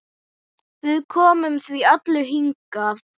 Við komum því öllu hingað.